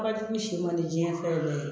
Ba jugu si man diɲɛ fɛn yɛrɛ ye